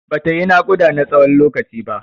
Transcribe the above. Bata yi naƙuda na tsawon lokaci ba.